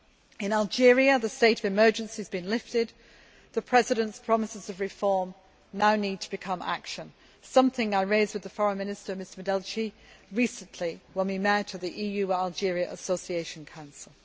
In Algeria, the state of emergency has been lifted, and the President's promises of reform now need to become action something I raised with Foreign Minister Medelci recently when we met at the EU Algeria Association Council.